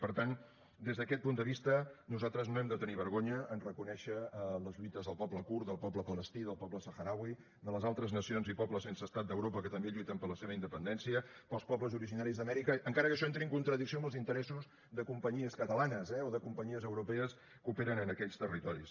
per tant des d’aquest punt de vista nosaltres no hem de tenir vergonya a reconèixer les lluites del poble kurd del poble palestí del poble sahrauí de les altres nacions i pobles sense estat d’europa que també lluiten per la seva independència dels pobles originaris d’amèrica encara que això entri en contradicció amb els interessos de companyies catalanes eh o de companyies europees que operen en aquells territoris